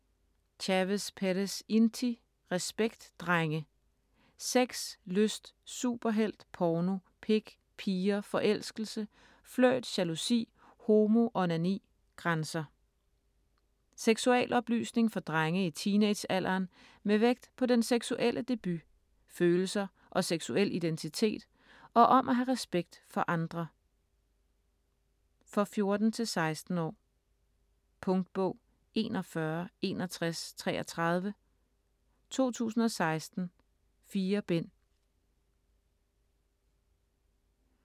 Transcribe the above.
Chavez Perez, Inti: Respekt drenge!: sex, lyst, superhelt, porno, pik, piger, forelskelse, flirt, jalousi, homo, onani, grænser Seksualoplysning for drenge i teenagealderen med vægt på den seksuelle debut, følelser og seksuel identitet, og om at have respekt for andre. For 14-16 år. Punktbog 416133 2016. 4 bind.